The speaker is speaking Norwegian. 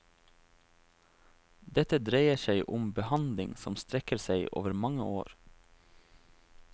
Dette dreier seg om behandling som strekker seg over mange år.